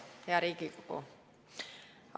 Hea Riigikogu!